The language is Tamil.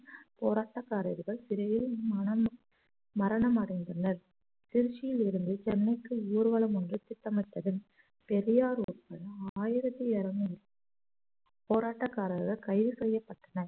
போராட்டக்காரர்கள் சிறையில் மரணம் மரணம் அடைந்துள்ளனர் திருச்சியில் இருந்து சென்னைக்கு ஊர்வலம் ஒன்று திட்டமிட்டது பெரியார் ஒருத்தரும் ஆயிரத்தி இருநூறு போராட்டக்காரர்கள் கைது செய்யப்பட்டனர்